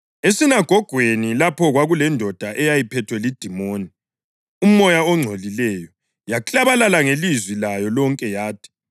Esinagogweni lapho kwakulendoda eyayiphethwe lidimoni, umoya ongcolileyo. Yaklabalala ngelizwi layo lonke yathi,